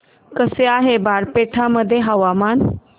कसे आहे बारपेटा मध्ये हवामान